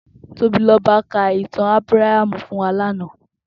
Tobiloba kà itàn Abràhámú fún wà làná